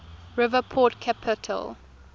river port capable